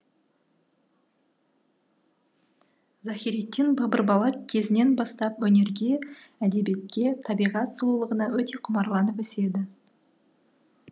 захириддин бабыр бала кезінен бастап өнерге әдебиетке табиғат сұлулығына өте құмарланып өседі